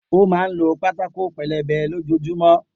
O má n ló pátákó pelebe lójojúmọ́